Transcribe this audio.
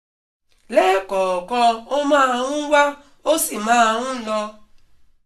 Lẹ́ẹ̀kọ̀ọ̀kan ó máa ń wá ó sì máa ń lọ